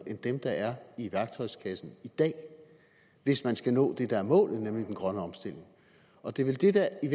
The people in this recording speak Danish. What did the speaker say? end dem der er i værktøjskassen i dag hvis man skal nå det der er målet nemlig den grønne omstilling og det er vel det der i